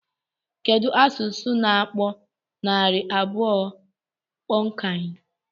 Kedụ asụsụ na-akpọ narị abụọ punnkan?